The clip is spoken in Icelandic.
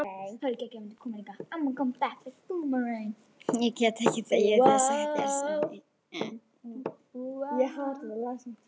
Ég get ekki þegið þessa gersemi.